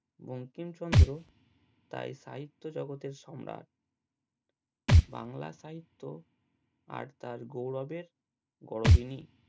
বঙ্কিমচন্দ্র তাই সাহিত্য জগতের সম্রাট বাংলা সাহিত্য আর তার গৌরবের গরবিনী